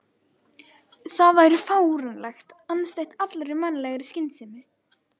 Það væri fáránlegt, andstætt allri mannlegri skynsemi.